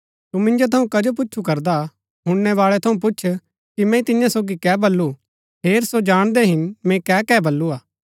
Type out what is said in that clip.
तू मिन्जो थऊँ कजो पूच्छु करदा हुणनैबाळै थऊँ पुछ कि मैंई तियां सोगी कै बल्लू हेर सो जाणदै हिन मैंई कै कै बल्लू हा